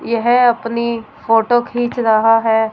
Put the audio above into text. यह अपनी फोटो खींच रहा है।